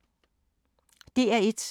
DR1